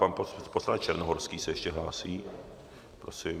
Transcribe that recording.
Pan poslanec Černohorský se ještě hlásí, prosím.